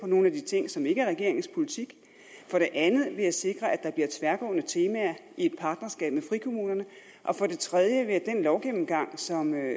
nogle af de ting som ikke er regeringens politik for det andet ved at sikre at der bliver tværgående temaer i et partnerskab med frikommunerne og for det tredje ved at den lovgennemgang som er